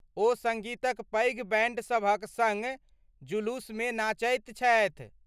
ओ सङ्गीतक पैघ बैण्डसभक सङ्ग जुलूसमे नाचैत छथि।